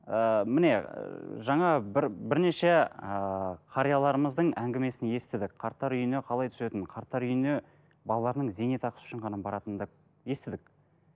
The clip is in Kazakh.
ыыы міне ыыы жаңа бір бірнеше ыыы қарияларымыздың әңгімесін естідік қарттар үйіне қалай түсетінін қарттар үйіне балаларының зейнетақысы үшін ғана баратын да естідік